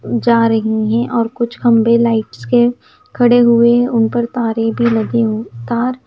जा रही हैं और कुछ खम्बे लाइट्स के खड़े हुए उन पर तारे भी लगे तार --